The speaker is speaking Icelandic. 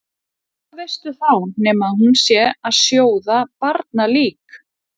Og hvað veistu þá nema að hún sé að sjóða barnalík?